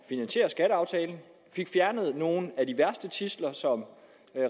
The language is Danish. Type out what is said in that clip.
finansiere skatteaftalen vi fik fjernet nogle af de værste tidsler som